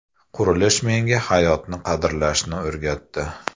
Qurilish menga hayotni qadrlashni o‘rgatdi”.